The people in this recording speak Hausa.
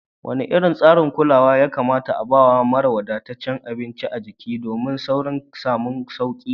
Wane irin tsarin kulawa ya kamata a bawa mara wadataccen abinci a jiki domin saurin samun sauki?